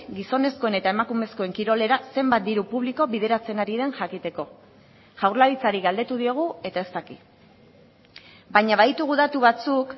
gizonezkoen eta emakumezkoen kirolera zenbat diru publiko bideratzen ari den jakiteko jaurlaritzari galdetu diogu eta ez daki baina baditugu datu batzuk